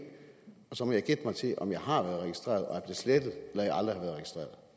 og så må jeg gætte mig til om jeg har været registreret og